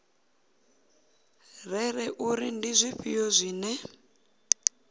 rere uri ndi zwifhio zwine